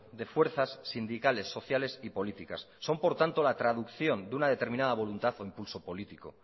de fuerzas sindicales sociales y políticas son por tanto la traducción de una determinada voluntad o impulso políticos